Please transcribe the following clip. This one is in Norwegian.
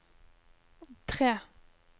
tre